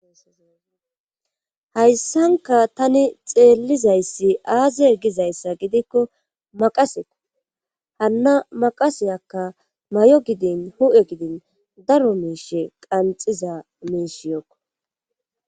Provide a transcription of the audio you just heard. Hayssanka tani xeellizayssi aazi e gizayssa gidikko maqaseko hanna maqaseyakka may'o gidin hu'e gidin daro miishe qanxiza miishiyookko